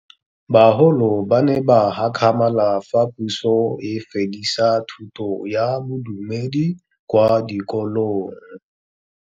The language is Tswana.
Bagolo ba ne ba gakgamala fa Pusô e fedisa thutô ya Bodumedi kwa dikolong.